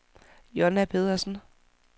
Jonna Pedersen